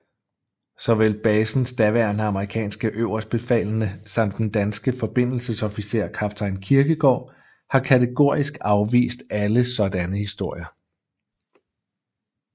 Såvel basens daværende amerikanske øverstbefalende samt den danske forbindelsesofficer kaptajn Kirkegaard har kategorisk afvist alle sådanne historier